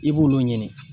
I b'olu ɲini